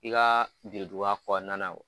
I ka biriduga kɔnɔ na